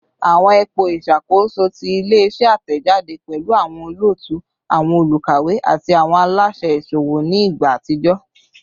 Awọn ipo iṣakoso ti ile-iṣẹ atẹjade pẹlu awọn olootu, awọn olukawe, ati awọn alaṣẹ iṣowo ni igba atijọ